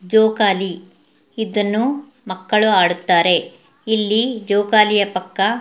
ಜೋಕಾಲಿ ಇದನ್ನು ಮಕ್ಕಳು ಆಡುತ್ತಾರೆ. ಇಲ್ಲಿ ಜೋಕಾಲಿಯ ಪಕ್ಕ--